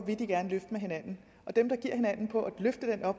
med hinanden og dem der